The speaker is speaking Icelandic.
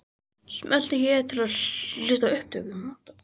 Smelltu hér til að hlusta á upptöku.